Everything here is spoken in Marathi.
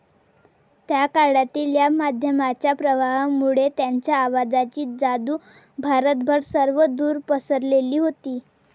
त्या काळातील या माध्यमाच्या प्रभावामुळे त्यांच्या आवाजाची जादू भारतभर सर्वदूर पसरलेली होती.